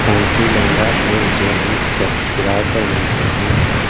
Fancy lehenga एवं jewellery set किराए पर मिलते हैं।